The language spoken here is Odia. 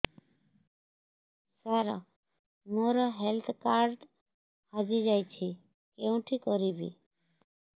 ସାର ମୋର ହେଲ୍ଥ କାର୍ଡ ହଜି ଯାଇଛି କେଉଁଠି କରିବି